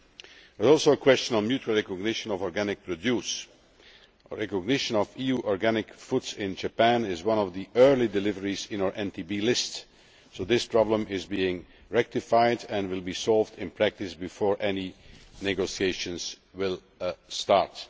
There was also a question on mutual recognition of organic produce. Recognition of EU organic foods in Japan is one of the early deliveries on our NTB list so this problem is being rectified and will be solved in practice before any negotiations start.